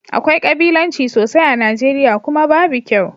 Akwai kabilanci sosai a Nijeriya, kuma babu kyau